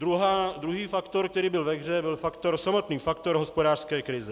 Druhý faktor, který byl ve hře, byl samotný faktor hospodářské krize.